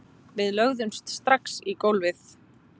Við lögðumst strax í gólfið